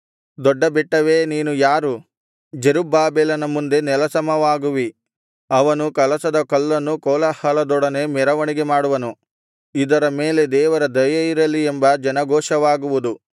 ದೊಡ್ಡ ಬೆಟ್ಟವೇ ನೀನು ಯಾರು ಜೆರುಬ್ಬಾಬೆಲನ ಮುಂದೆ ನೆಲಸಮವಾಗುವಿ ಅವನು ಕಲಶದ ಕಲ್ಲನ್ನು ಕೋಲಾಹಲದೊಡನೆ ಮೆರವಣಿಗೆ ಮಾಡುವನು ಇದರ ಮೇಲೆ ದೇವರ ದಯೆಯಿರಲಿ ಎಂಬ ಜನಘೋಷವಾಗುವುದು